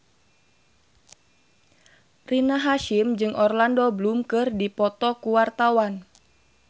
Rina Hasyim jeung Orlando Bloom keur dipoto ku wartawan